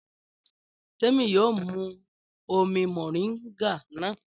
Témi yóò mu omi mọ̀ríǹgà náà.